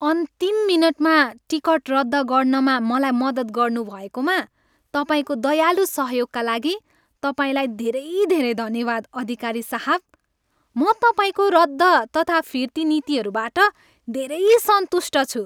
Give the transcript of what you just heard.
अन्तिम मिनेटमा टिकट रद्द गर्नमा मलाई मद्दत गनुभएकोमा तपाईँको दयालु सहयोगका लागि तपाईँलाई धेरै धेरै धन्यवाद अधिकारी साहब, म तपाईँको रद्द तथा फिर्ती नीतिहरूबाट धेरै सन्तुष्ट छु।